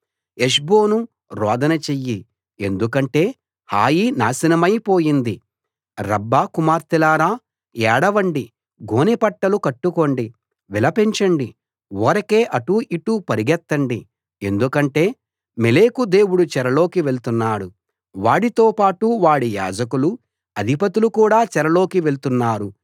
హెష్బోనూ రోదన చెయ్యి ఎందుకంటే హాయి నాశనమై పోయింది రబ్బా కుమార్తెలారా ఏడవండి గోనె పట్టలు కట్టుకోండి విలపించండి ఊరకే అటూ ఇటూ పరుగెత్తండి ఎందుకంటే మోలెకు దేవుడు చెరలోకి వెళ్తున్నాడు వాడితో పాటు వాడి యాజకులూ అధిపతులూ కూడా చెరలోకి వెళ్తున్నారు